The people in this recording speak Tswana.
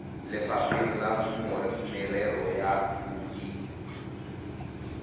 lefapheng la merero ya bodit